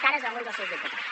cares d’alguns dels seus diputats